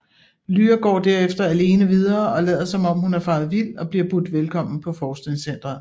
Lyra går derefter alene videre og lader som om hun er faret vild og bliver budt velkommen på forskningscentret